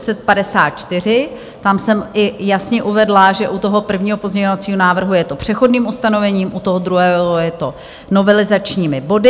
Tam jsem i jasně uvedla, že u toho prvního pozměňovacího návrhu je to přechodným ustanovením, u toho druhého je to novelizačními body.